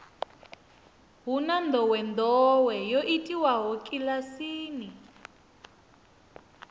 hu na ndowendowe yo itiwaho kilasini